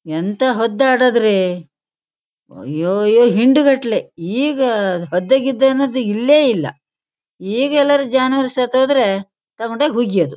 ಎಂಥಾ ಹದ್ದ್ ಆಡೋದ್ರಿ ಅಯ್ಯೋ ಅಯ್ಯೋ ಹಿಂಡಗಟ್ಲೆ. ಈಗ ಹದ್ದ್ ಗಿದ್ ಅನ್ನೋದ್ ಇಲ್ವೆ ಇಲ್ಲ. ಈಗ ಎಲ್ಲಾರು ಜಾನವಾರ್ ಸತ್ ಹೋದ್ರೆ ತಕೊಂಡ್ ಹೋಗಿ ಹುಗಿಯೋದು.